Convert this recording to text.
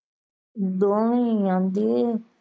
ਦੋਵੇਂ ਈ ਆਂਦੇ।